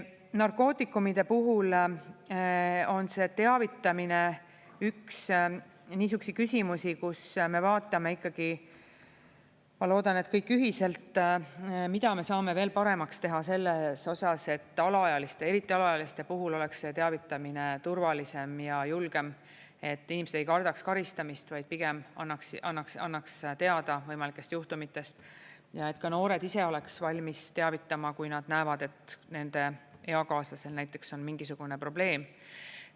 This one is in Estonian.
Narkootikumide puhul on see teavitamine üks niisuguseid küsimusi, kus me vaatame ikkagi, ma loodan, et kõik ühiselt, mida me saame veel paremaks teha selles osas, et alaealiste, eriti alaealiste puhul oleks see teavitamine turvalisem ja julgem, et inimesed ei kardaks karistamist, vaid pigem annaks teada võimalikest juhtumitest, ja et ka noored ise oleks valmis teavitama, kui nad näevad, et nende eakaaslasel näiteks on mingisugune probleem.